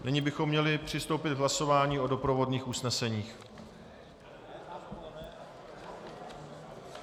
Nyní bychom měli přistoupit k hlasování o doprovodných usneseních.